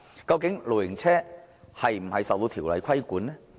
究竟露營車是否受條例規管呢？